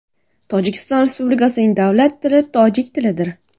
Tojikiston Respublikasining davlat tili tojik tilidir.